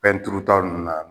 Fɛn turuta ninnu na